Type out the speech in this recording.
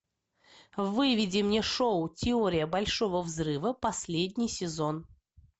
выведи мне шоу теория большого взрыва последний сезон